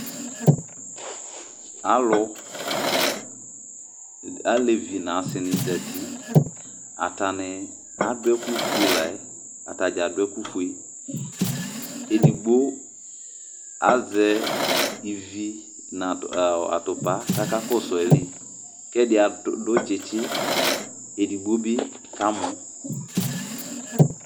alevi nʊ asi nɩ zati, atanɩ dza adʊ ɛkʊ fue la yɛ, edigbo azɛ ivi nʊ atupa kʊ akakɔsu ayili, kʊ ɛdɩ akɔ tsitsi, edigbo bɩ kamɔ